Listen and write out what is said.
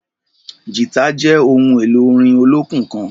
Jìtá jẹ ohun elo orin olokun kan.